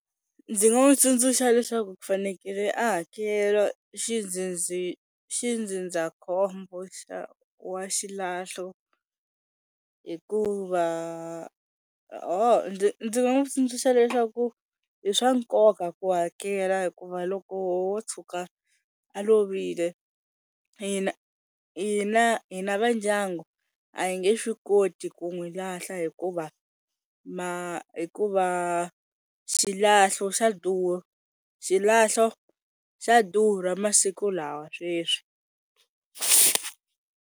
Ndzi nga n'wi tsundzuxa leswaku ku fanekele a hakelo xindzindzakhombo xa wa xilahlo hikuva ho ndzi ndzi nga n'wi tsundzuxa leswaku i swa nkoka ku hakela hikuva loko wo tshuka a lovile hina hina va ndyangu a hi nge swi koti ku n'wi lahla hikuva hikuva xilahlo xa xilahlo xa durha masiku lawa sweswi.